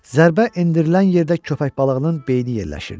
Zərbə endirilən yerdə köppək balığının beyni yerləşirdi.